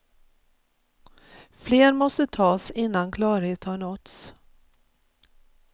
Fler måste tas innan klarhet har nåtts.